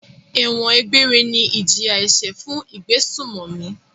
Ẹ̀wọ̀n egbére ni ìjìyà-ẹ̀ṣẹ̀ fún ìgbésùnmòmí.